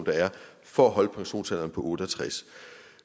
der er for at holde pensionsalderen på otte og tres